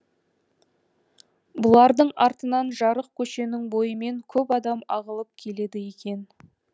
бұлардың артынан жарық көшенің бойымен көп адам ағылып келеді екен